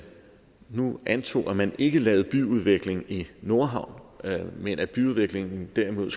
nu antog at man ikke lavede byudvikling i nordhavn men at byudviklingen derimod